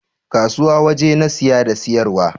Kasuwa waje na saye da siyarwa